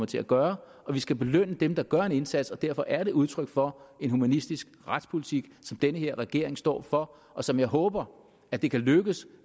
til at gøre vi skal belønne dem der gør en indsats og derfor er det udtryk for en humanistisk retspolitik som den her regering står for og som jeg håber at det kan lykkes